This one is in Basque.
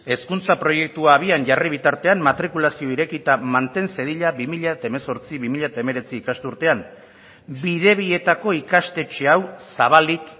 hezkuntza proiektua abian jarri bitartean matrikulazioa irekita manten zedila bi mila hemezortzi bi mila hemeretzi ikas urtean bidebietako ikastetxea hau zabalik